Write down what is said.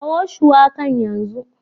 Kawo shuwakan yanzu.